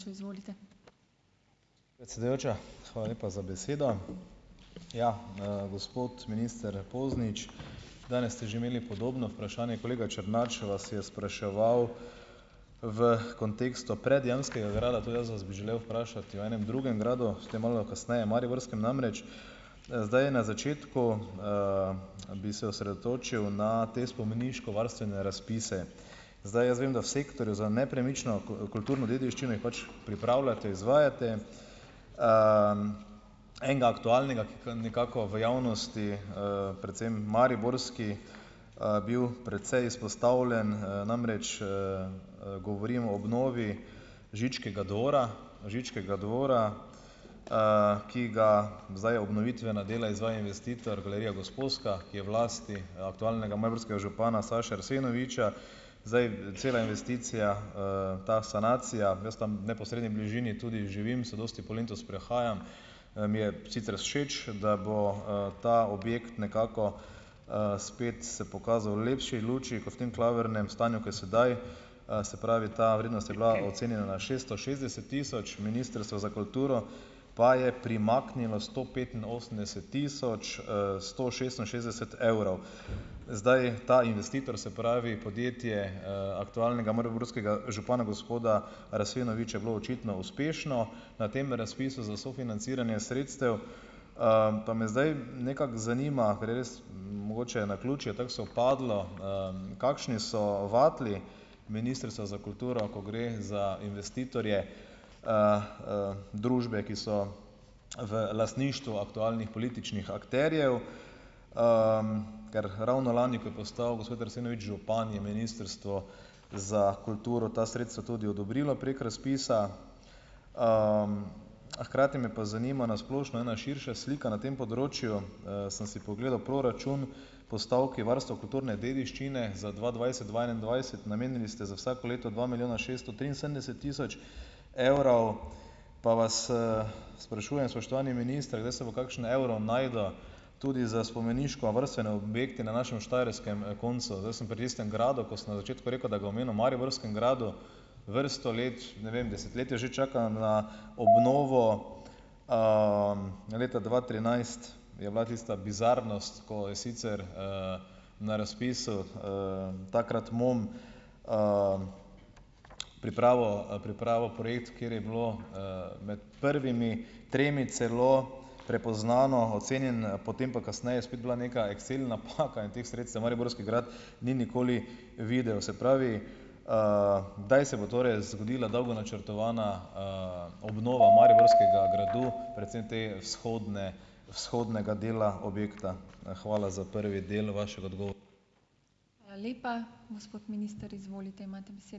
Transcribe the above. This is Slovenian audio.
Predsedujoča, hvala lepa za besedo. Ja, gospod minister Poznič, danes ste že imeli podobno vprašanje. Kolega Černač vas je spraševal v kontekstu predjamskega grada. Tudi jaz vas bi želel vprašati o enem drugem gradu - o tem malo kasneje, mariborskem namreč. Zdaj, na začetku, bi se osredotočil na te spomeniško varstvene razpise. Zdaj jaz vem, da v sektorju za nepremično kulturno dediščino jih pač pripravljate, izvajate. Enega aktualnega, ki ga nekako v javnosti, predvsem mariborski, bil precej izpostavljen. Namreč, govorim o obnovi Žičkega dvora Žičkega dvora, ki ga, zdaj obnovitvena dela izvaja investitor galerija Gosposka, ki je v lasti aktualnega mariborskega župana Saše Arsenoviča. Zdaj cela investicija, ta sanacija - jaz tam v neposredni bližini tudi živim, se dosti po Lentu sprehajam. Mi je sicer všeč, da bo ta objekt nekako spet se pokazal v lepši luči, kot v tem klavrnem stanju ko je sedaj. Se pravi, ta vrednost je bila ocenjena na šesto šestdeset tisoč, Ministrstvo za kulturo pa je primaknilo sto petinosemdeset tisoč, sto šestinšestdeset evrov. Zdaj, ta investitor, se pravi podjetje, aktualnega mariborskega župana gospoda Arsenoviča, je bilo očitno uspešno na tem razpisu za sofinanciranje sredstev, Pa me zdaj nekako zanima, ker je res mogoče naključje tako sovpadlo, kakšni so vatli Ministrstva za kulturo, ko gre za investitorje, družbe, ki so v lastništvu aktualnih političnih akterjev, Ker ravno lani, ko je postal gospod Arsenovič župan, je Ministrstvo za kulturo ta sredstva tudi odobrilo prek razpisa. Hkrati me pa zanima na splošno ena širša slika na tem področju. Sem si pogledal proračun, postavki varstvo kulturne dediščine za dva dvajset-dva enaindvajset. Namenili ste za vsako leto dva milijona šeststo triinsedemdeset tisoč evrov pa vas, sprašujem, spoštovani minister, kdaj se bo kakšen evro našel tudi za spomeniško varstvene objekte na našem štajerskem, koncu. Zdaj sem pri tistem gradu, ko sem na začetku rekel, da ga omenil mariborskem gradu. Vrsto let, ne vem, desetletja že čaka na obnovo. Leta dva trinajst je bila tista bizarnost, ko je sicer, na razpisu, takrat MON, pripravil, pripravil projekt, kjer je bilo, med prvimi tremi celo prepoznano, ocenjen, potem pa kasneje spet bila neka excel napaka in teh sredstev mariborski grad ni nikoli videl. Se pravi, kdaj se bo torej zgodila dolgo načrtovana, obnova mariborskega gradu, predvsem te vzhodne vzhodnega dela objekta? Hvala za prvi del vašega ...